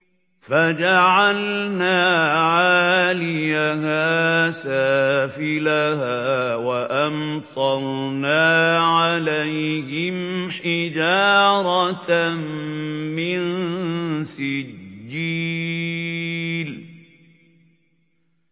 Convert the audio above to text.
فَجَعَلْنَا عَالِيَهَا سَافِلَهَا وَأَمْطَرْنَا عَلَيْهِمْ حِجَارَةً مِّن سِجِّيلٍ